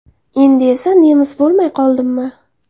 Endi esa nemis bo‘lmay qoldimmi?